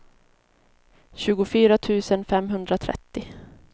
tjugofyra tusen femhundratrettio